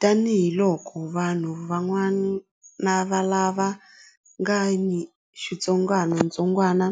Tanihiloko vanhu van'wana lava nga ni xitsongwantsongwana